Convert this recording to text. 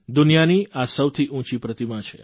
દુનિયાની આ સૌથી ઉંચી પ્રતિમા છે